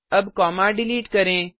अब comma delete करें